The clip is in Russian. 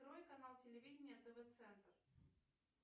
открой канал телевидения тв центр